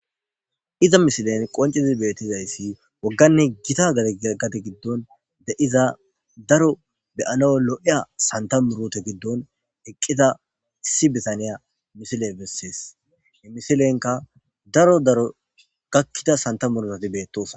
iza misilen qoncizi beettizayssi wogganne gita gate giddon de7iza daro beyano lo7eya santa murute giddon eqqita issi bitaniya misile bessees imisilenka daro daro gakkida santa murusati beettosona